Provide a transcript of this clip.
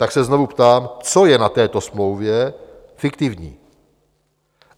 Tak se znovu ptám, co je na této smlouvě fiktivní?